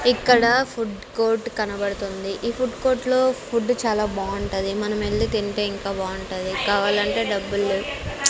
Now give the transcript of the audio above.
ఇక్కడ food court కనబడుతుంది. ఈ ఫుడ్ కోర్ట్ లో ఫుడ్ చాలా బాగుంటది మనం వెళ్ళి తింటే ఇంకా బాగుంటది కావాలంటే డబ్బులేవు.